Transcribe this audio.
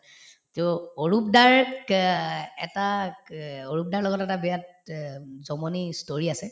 to Arup দাৰ এটা ক অৰূপ দাৰ লগত এটা বেয়া তে উম জমনি ই story আছে